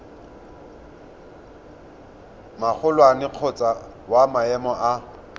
magolwane kgotsa wa maemo a